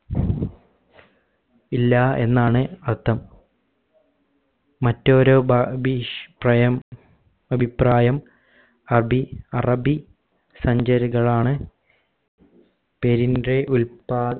ഇല്ല എന്നാണ് അർഥം മറ്റ് ഒരു ബ ബീഷ് പ്രയം അഭിപ്രായം അബി അറബി സഞ്ചാരികൾ ആണ് പേരിന്റെ ഉല്പ